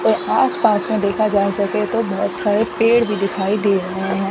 और आस पास में देखा जा सके तो बहोत सारे पेड़ भी दिखाई दे रहे हैं।